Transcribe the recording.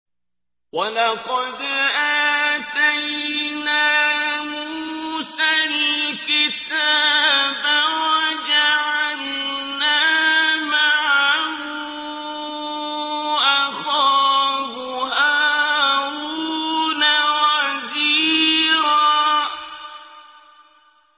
وَلَقَدْ آتَيْنَا مُوسَى الْكِتَابَ وَجَعَلْنَا مَعَهُ أَخَاهُ هَارُونَ وَزِيرًا